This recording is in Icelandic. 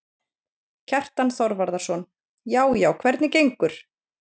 Kjartan Þorvarðarson: Já já, hvernig gengur?